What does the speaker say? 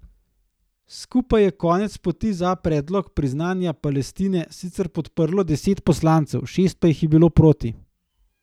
Skupaj je konec poti za predlog priznanja Palestine sicer podprlo deset poslancev, šest pa jih je bilo proti.